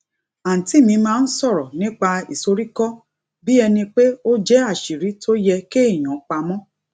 àǹtí mi máa ń sòrò nípa ìsoríkó bí ẹni pé ó jé àṣírí tó yẹ kéèyàn pa mó